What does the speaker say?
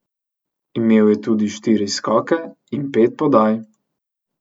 Imel je tudi štiri skoke in pet podaj.